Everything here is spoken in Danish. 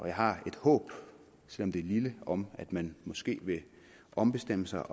jeg har et håb selv om det er lille om at man måske vil ombestemme sig